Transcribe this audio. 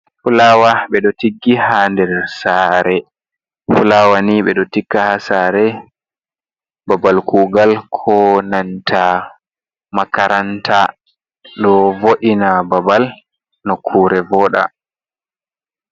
Fulawa ɓe ɗo tiggi ha nder sare, fulawa ni ɓeɗo tigga ha sare, babal kugal, ko nanta makaranta ɗo vo’ina babal no kure voda.